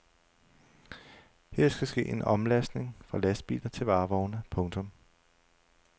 Her skal ske en omlastning fra lastbiler til varevogne. punktum